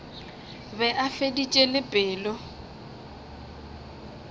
be a feditše le pelo